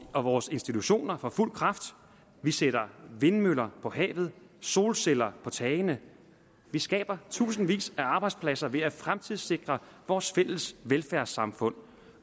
og vores institutioner for fuld kraft vi sætter vindmøller på havet solceller på tagene vi skaber tusindvis af arbejdspladser ved at fremtidssikre vores fælles velfærdssamfund